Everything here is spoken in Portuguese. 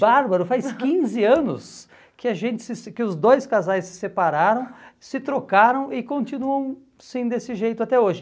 Bárbaro, faz quinze anos que a gente se se que os dois casais se separaram, se trocaram e continuam assim desse jeito até hoje.